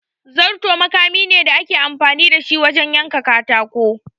Zarto makami ne da ake amfani da shi wajen yanka katako.